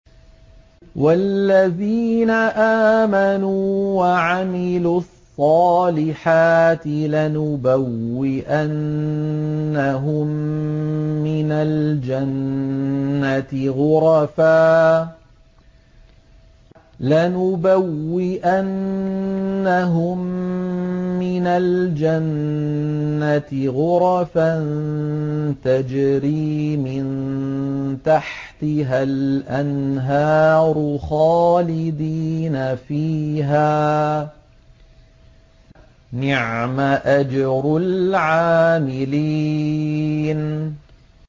وَالَّذِينَ آمَنُوا وَعَمِلُوا الصَّالِحَاتِ لَنُبَوِّئَنَّهُم مِّنَ الْجَنَّةِ غُرَفًا تَجْرِي مِن تَحْتِهَا الْأَنْهَارُ خَالِدِينَ فِيهَا ۚ نِعْمَ أَجْرُ الْعَامِلِينَ